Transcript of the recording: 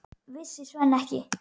Vissi Svenni ekki?